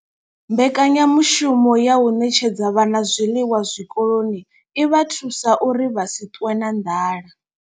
Mbekanyamushumo ya u ṋetshedza vhana zwiḽiwa zwikoloni i vha thusa uri vha si ṱwe na nḓala.